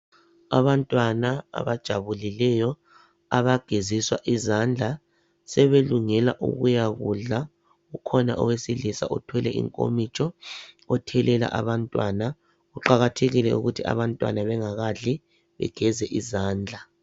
Abantwana abajabulileyo abageziswa izandla sebelungela ukuyakudla. Kukhona owesilisa othwele inkomitsho othelela abantwana. Kuqakathekile ukuthi abantwana bengakadli begeze izandla.